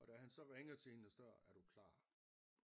Og da han så ringede til hende og er du klar